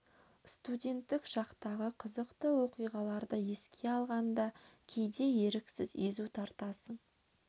студенттік шақтағы қызықты оқиғаларды еске алғанда кейде еріксіз езу тартасың